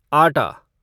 आटा